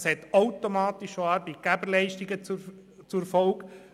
Das hat automatisch Arbeitgeberleistungen zur Folge.